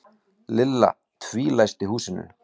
Lilla tvílæsti húsinu.